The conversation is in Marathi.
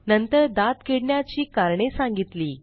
नंतर दात किडण्याची कारणे सांगितली